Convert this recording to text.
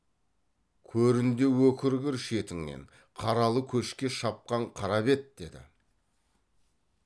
көрінде өкіргір шетіңнен қаралы көшке шапқан қара бет деді